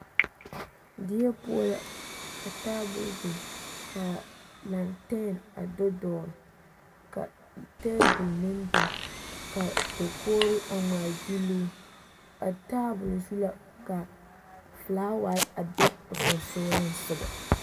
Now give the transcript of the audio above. Die poɔ la ka taabol biŋ ka lanten a do dɔgele ka teebol meŋ biŋ ka dakogiri a ŋmaa gyiloo a taabol zu la ka felaaware a be o sonsoolesogɔ.